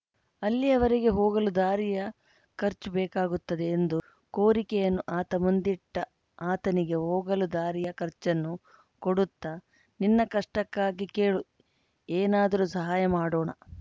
ಅಲ್ಲಿಯವರೆಗೆ ಹೋಗಲು ದಾರಿಯ ಖರ್ಚು ಬೇಕಾಗುತ್ತದೆ ಎಂದು ಕೋರಿಕೆಯನ್ನು ಆತ ಮುಂದಿಟ್ಟ ಆತನಿಗೆ ಹೋಗಲು ದಾರಿಯ ಖರ್ಚನ್ನು ಕೊಡುತ್ತ ನಿನ್ನ ಕಷ್ಟಕ್ಕಾಗಿ ಕೇಳು ಏನಾದರು ಸಹಾಯ ಮಾಡೋಣ